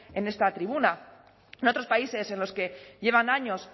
en esta tribuna en otros países en los que llevan años